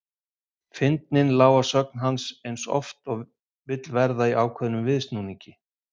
Fyndnin lá að sögn hans eins og oft vill verða í ákveðnum viðsnúningi.